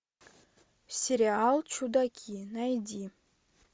сериал чудаки найди